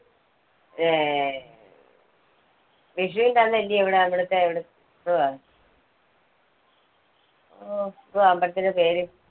വിഷൂന്റെ അന്നല്ലിയോ ഇവിടെ ഇവിടത്തെ എന്തുവാ എന്തുവാ അമ്പലത്തിന്റെ പേര്?